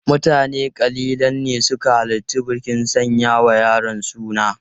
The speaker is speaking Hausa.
Mutane kalilan ne suka halarci bikin sanya wa yaron suna.